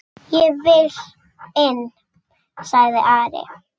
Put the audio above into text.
Ég vil inn, sagði Ari.